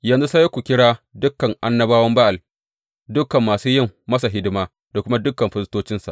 Yanzu sai ku kira dukan annabawan Ba’al, dukan masu yin masa hidima da kuma dukan firistocinsa.